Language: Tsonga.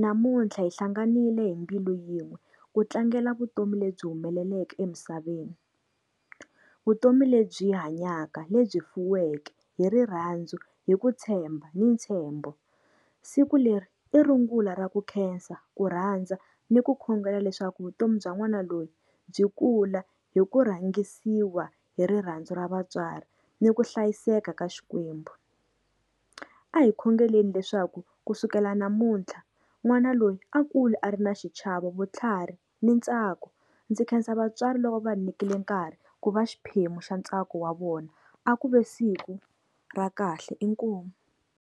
Namuntlha hi hlanganile hi mbilu yin'we ku tlangela vutomi lebyi humeleleke emisaveni. Vutomi lebyi hanyaka, lebyi fuweke hi rirhandzu, hi ku tshemba, ni ntshembo. Siku leri i rungula ra ku khensa, ku rhandza ni ku khongela leswaku vutomi bya n'wana loyi byi kula hi ku rhangisiwa hi rirhandzu ra vatswari, ni ku hlayiseka ka Xikwembu. A hi khongeleni leswaku kusukela namuntlha n'wana loyi a kula a ri na xichava vutlhari ni ntsako. Ndzi khensa vatswari loko va nyikile nkarhi ku va xiphemu xa ntsako wa vona a ku ve siku ra kahle inkomu.